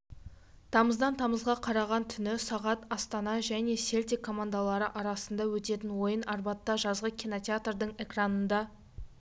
тамыздан тамызға қараған түні сағат астана және селтик командалары арасында өтетін ойын арбатта жазғы кинотеатрдың экранында